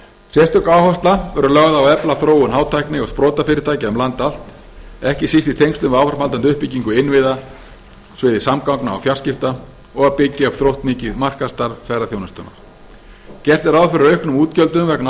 sérstök áhersla verður lögð á að efla þróun hátækni og sprotafyrirtækja um land allt ekki síst í tengslum við áframhaldandi uppbyggingu innviða í sviði samgangna og fjarskipta og að byggja upp þróttmikið markaðsstarf ferðaþjónustunnar gert er ráð fyrir auknum útgjöldum vegna